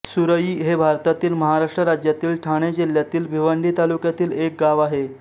सुरई हे भारतातील महाराष्ट्र राज्यातील ठाणे जिल्ह्यातील भिवंडी तालुक्यातील एक गाव आहे